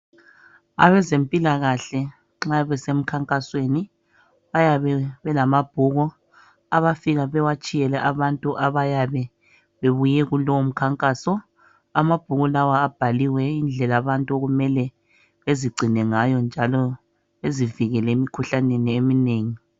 Abezempilakahle nxa besemkhankasweni bayabe belamabhuku abafika bewatshiyele abantu abayabe bebuye kulowo mkhankaso. Amabhuku lawa abhaliwe indlela abantu okumele bezigcina ngayo njalo bezivikele emikhuhlaneni eminengi.